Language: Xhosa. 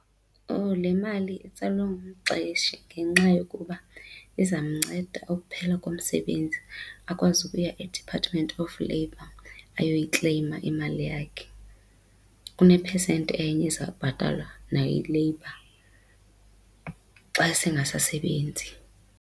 Oh, le mali itsalwa ngumxeshi ngenxa yokuba izamnceda ukuphela komsebenzi akwazi ukuya e-Department of Labor ayoyikleyima imali yakhe. Kunephesenti enye ezawubhatalwa nayi-labour xa sengasasebenzi.